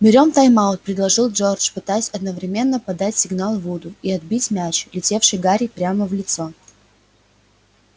берём тайм-аут предложил джордж пытаясь одновременно подать сигнал вуду и отбить мяч летевший гарри прямо в лицо